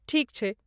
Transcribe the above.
ठीक छै।